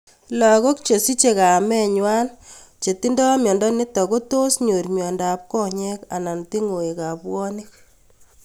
Lagok che siche kameshek kwak che tindoi miondo nitok ko tos nyor miondop konyek anan tungwek ap puonik.